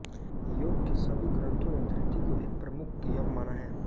योग के सभी ग्रन्थों ने धृति को एक प्रमुख यम माना है